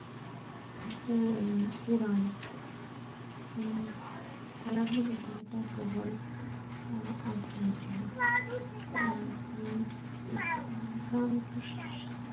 হম পুরান পায়ে লাগলো কিন্তু তার প্রবল